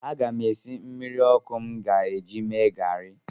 Aga m esi mmiri ọkụ m ga-eji mee garị.